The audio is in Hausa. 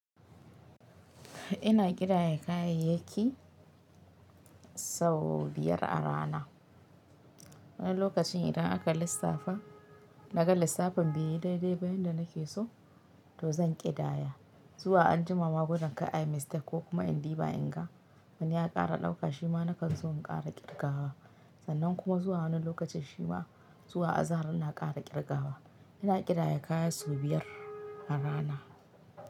Ina ƙidaya kayayyaki sau biyar a rana. Wani lokacin idan aka lissafa, naga lissafin beyi dai-dai ba yanda nake so, to zan ƙidaya. Zuwa anjima ma gudin kar ayi mistake ko kuma in diba inga. Wani ya kara ɗauka shi ma na kanson in kara ƙirgawa. Sannan kuma zuwa wani lokacin shima, zuwa azahar ina kara ƙirgawa. Ina ƙidaya kaya sau biyar a rana.